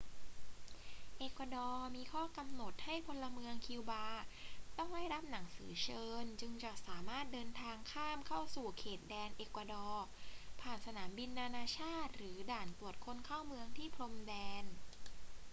เอกวาดอร์มีข้อกำหนดให้พลเมืองคิวบาต้องได้รับหนังสือเชิญจึงจะสามารถเดินทางข้ามเข้าสู่เขตแดนเอกวาดอร์ผ่านสนามบินนานาชาติหรือด่านตรวจคนเข้าเมืองที่พรมแดน